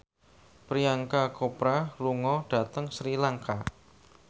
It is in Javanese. Priyanka Chopra lunga dhateng Sri Lanka